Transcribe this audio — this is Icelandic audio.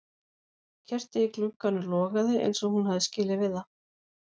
Kertið í glugganum logaði eins og hún hafði skilið við það.